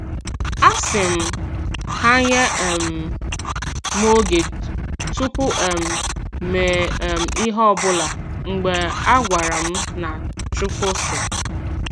A sị m ha nye um m oge tupu um mee um ihe ọbụla mgbe a gwara m na "Chukwu sị"